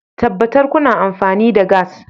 Tabbatar kuna amfani da gas